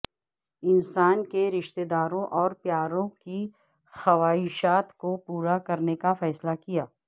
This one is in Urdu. انسان کے رشتہ داروں اور پیاروں کی خواہشات کو پورا کرنے کا فیصلہ کیا